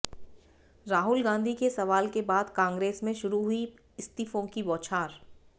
राहुल गांधी के सवाल के बाद कांग्रेस में शुरू हुई इस्तीफों की बौछार